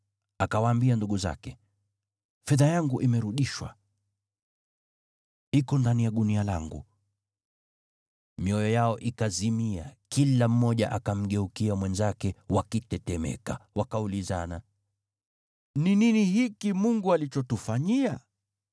Akawaambia ndugu zake, “Fedha yangu imerudishwa. Iko ndani ya gunia langu.” Mioyo yao ikazimia, na kila mmoja akamgeukia mwenzake wakitetemeka, wakaulizana, “Ni nini hiki Mungu alichotufanyia?”